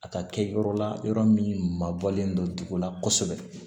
A ka kɛ yɔrɔ la yɔrɔ min mabɔlen don dugu la kosɛbɛ